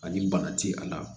Ani bana ti a la